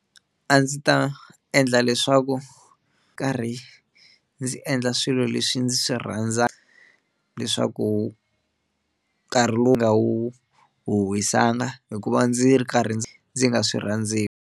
A ndzi ta endla leswaku nkarhi ndzi endla swilo leswi ndzi swi rhandzaka leswaku nkarhi lowu nga wu wisanga hikuva ndzi ri karhi ndzi ndzi nga swi rhandziku.